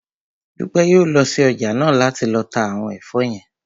Dúpẹ́ yóò lọ sí ọjà náà láti lọ ta àwọn ẹ̀fọ́ yẹn